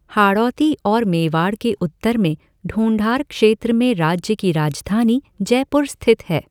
हाड़ौती और मेवाड़ के उत्तर में ढूंढार क्षेत्र में राज्य की राजधानी जयपुर स्थित है।